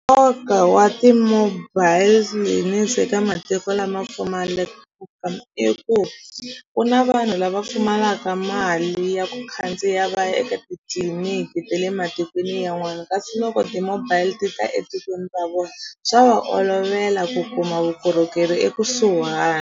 Nkoka wa ti-mobile clinics ka matiko lama pfumalaka i ku ku na vanhu lava pfumalaka mali ya ku khandziya va ya eka titliliniki ta le matikweni yanwani kasi loko ti-mobile ti ta etikweni ra vona swa va olovela ku kuma vukorhokeri ekusuhani.